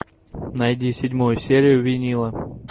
найди седьмую серию винила